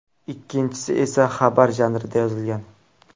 Ikkinchisi esa xabar janrida yozilgan.